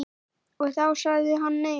Og þá sagði hann nei.